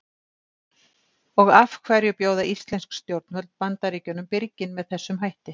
Og af hverju bjóða íslensk stjórnvöld Bandaríkjunum birginn með þessum hætti?